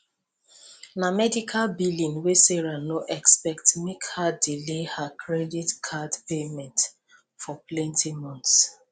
na medical billing wey sarah no expect make her delay her credit card payment for plenty months